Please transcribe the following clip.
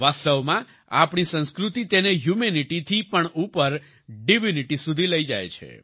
વાસ્તવમાં આપણી સંસ્કૃતિ તેને હ્યુમેનિટી થી પણ ઉપર ડિવિનિટી સુધી લઈ જાય છે